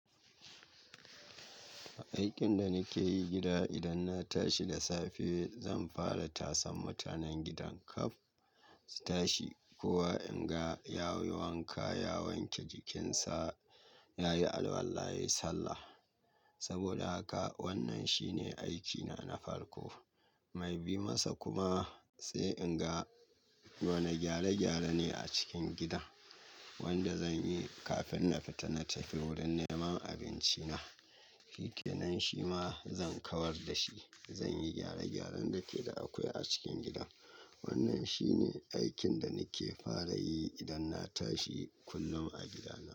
Aikin da nike yi gida idan na tashi da safe zan fara tasan mutanen gidan kaf su tashi. Kowa in ga ya yi wanka, ya wanke jikinsa, ya yi alwala, ya yi sallah. Saboda haka wannan shine aikina na farko. Mai bi masa kuma, sai in ga wani gyare-gyare ne a cikin gida wanda zan yi kafin na fita na tafi wurin neman abinci na. Shikenan shi ma zan kawar da shi. Zan yi gyare-gyaren da ke da akwai a cikin gidan. Wannan shine aikin da nake fara yi idan na tashi kullum a gidana.